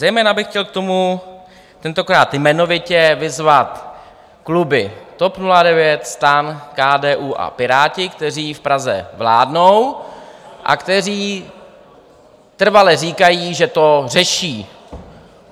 Zejména bych chtěl k tomu tentokrát jmenovitě vyzvat kluby TOP 09, STAN, KDU a Piráty, kteří v Praze vládnou a kteří trvale říkají, že to řeší.